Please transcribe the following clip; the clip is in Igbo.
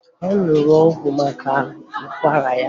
Ọ ṅụrụ ọgwụ maka ụkwara ya